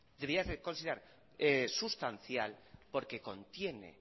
debería considerar sustancial porque contiene